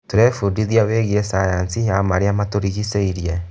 Tũrebundithia wĩgiĩ cayanci ya marĩa matũrigicĩirie.